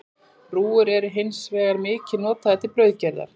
Rúgur eru hins vegar mikið notaðar til brauðgerðar.